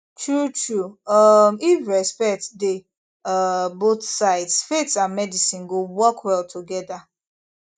truetrue um if respect dey um both sides faith and medicine go work well together